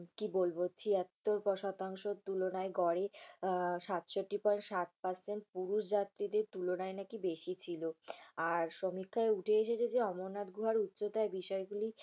কি বলবো ছিয়াত্তর শতাংশ তুলনায় গড়ে সাতষট্টি point ষাট percent পুরুষ যাত্রীদের তুলনায় নাকি বেশি ছিল। আর সমীক্ষায় উঠে এসেছে যে, অমরনাথ গুহার উচ্চতায় বিষয়গুলি